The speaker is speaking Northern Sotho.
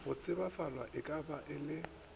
go tsebalafwa e ka ba